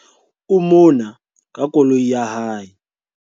o mona ka koloi ya hae